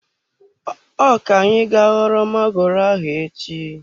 Ọ ka-anyị ga ghọrọ magoro ahụ echi.